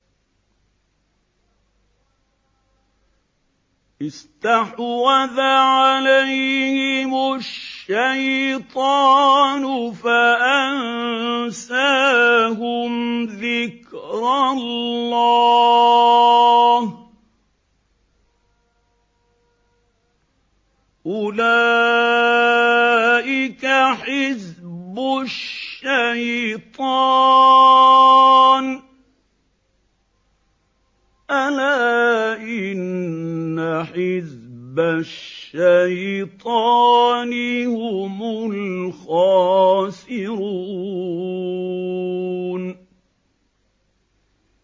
اسْتَحْوَذَ عَلَيْهِمُ الشَّيْطَانُ فَأَنسَاهُمْ ذِكْرَ اللَّهِ ۚ أُولَٰئِكَ حِزْبُ الشَّيْطَانِ ۚ أَلَا إِنَّ حِزْبَ الشَّيْطَانِ هُمُ الْخَاسِرُونَ